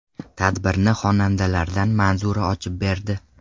Tadbirni xonandalardan Manzura ochib berdi.